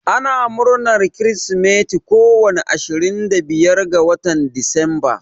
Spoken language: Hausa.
Ana murnar kirsimati ko wani ashirin da biyar na decemba.